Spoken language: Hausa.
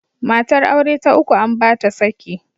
Matar aure ta uku an ba ta saki.